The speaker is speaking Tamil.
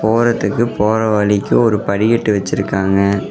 போறத்துக்கு போற வழிக்கு ஒரு படிக்கட்டு வெச்சிருக்காங்க.